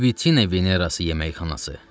Libitina Venerası yeməkxanası.